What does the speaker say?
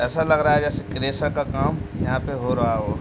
ऐसा लग रहा जैसे क्रेसर का काम यहाँ पे हो रहा हो।